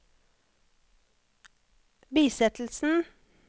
bisettelsen